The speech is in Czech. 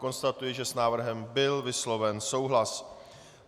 Konstatuji, že s návrhem byl vysloven souhlas.